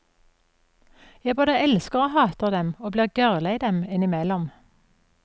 Jeg både elsker og hater dem, og blir gørrlei dem innimellom.